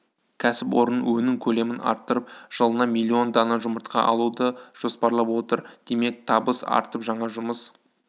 кәсіпорын өнім көлемін арттырып жылына миллион дана жұмыртқа алуды жоспарлап отыр демек табыс артып жаңа жұмыс